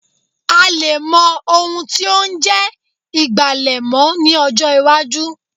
A lè mọ́ ohun tí ó ń jẹ́ ìgbàlẹ̀ mọ́ ní ọjọ́ iwájú